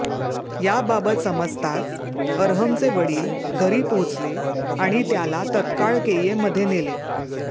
याबाबत समजताच अरहमचे वडील घरी पोहचले आणि त्याला तत्काळ केईएममध्ये नेले